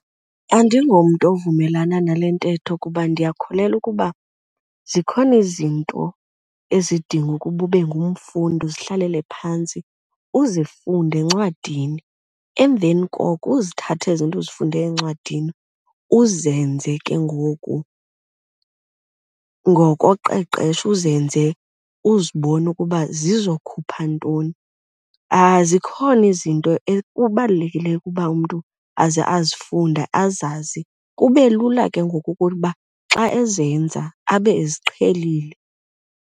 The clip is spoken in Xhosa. Andingomntu ovumelana nale ntetho kuba ndiyakholelwa ukuba zikhona izinto ezidingwa ukuba ube ngumfundi, uzihlalele phantsi uzifunde encwadini emveni koko uzithathe ezi zinto uzifunde encwadini uzenze ke ngoku ngokoqeqesho, uzenze uzibone ukuba zizokhupha ntoni. Zikhona izinto ekubalulekileyo ukuba umntu aze azifunde azazi kube lula ke ngoku ukuba xa ezenza abe eziqhelile.